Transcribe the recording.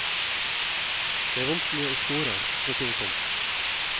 Det er vanskeligere å score, for å si det sånn.